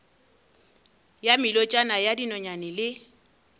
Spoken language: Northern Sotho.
ya melotšana ya dinonyane le